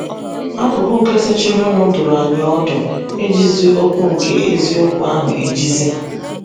Akụkụ nke sochirinụ dụrụ anyị ọdụ ‘ ijizi okwu nke eziokwu ahụ ejizi. ’